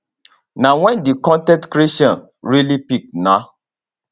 na wen di con ten t creation really pick na